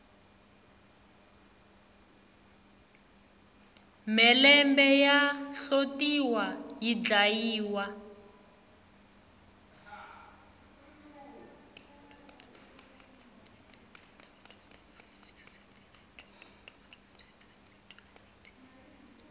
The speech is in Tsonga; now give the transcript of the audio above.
mhelembe ya hlotiwa yi dlayiwa